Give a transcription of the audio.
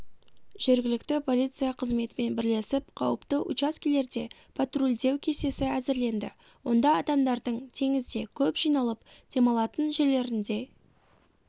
жергілікті полиция қызметімен бірлесіп қауіпті учаскелерде патрульдеу кестесі әзірленді онда адамдардың теңізде көп жиналып демалатын жерлерінде